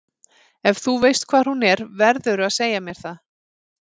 Ef þú veist hvar hún er verðurðu að segja mér það.